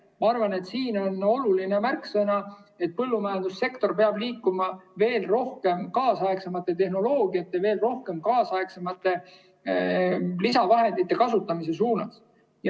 Ma arvan, et siin on oluline märksõna see, et põllumajandussektor peab liikuma veel kaasaegsemate tehnoloogiate ja veel kaasaegsemate lisavahendite kasutamise suunas.